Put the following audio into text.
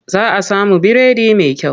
Za a samu biredi mai kyau a nan.